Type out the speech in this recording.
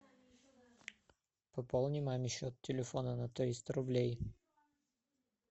пополни маме счет телефона на триста рублей